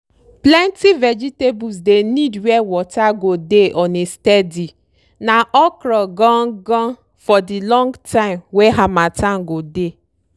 plenty vegetable dey need were water go dey on a steady na okro gan ganfor de long time wey harmattan go dey.